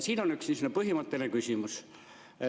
Siin on üks põhimõtteline küsimus.